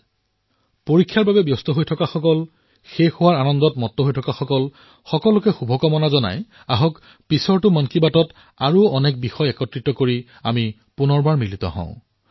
যিসকল ব্যস্ত যিসকল আনন্দিত তেওঁলোককো অনেক শুভকামনা যাঁচি আহক আগন্তুক মন কী বাতত অনেক বাৰ্তাসম্ভাৰ লৈ পুনৰ মিলিত হম